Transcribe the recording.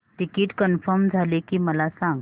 ticket confirm झाले की मला सांग